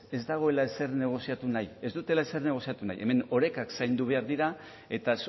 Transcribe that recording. ez dago ezer negoziatu nahi ez dutela ezer negoziatu nahi hemen orekak zaindu behar dira eta